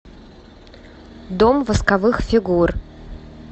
дом восковых фигур